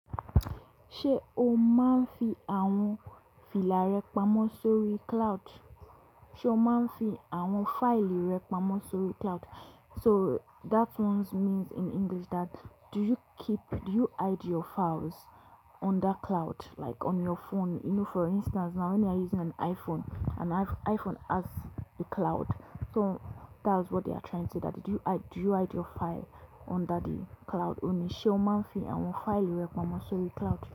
Ṣé o máa ń fi àwọn fila rẹ pamọ́ sórí cloud? Sé o máa ń fi àwọn fáìlì rẹ pamọ́ sórí cloud? So that one means in English that do you keep, do you hide your files under cloud like on your phone? You know, for instance, now when you're using an iPhone, an iPh-iPhone has a cloud. So that's what they are trying to that did you hi-do you hide your file under the cloud? Òní, sé o máa ń fi àwọn fáìlì rẹ pamọ́ sórí cloud?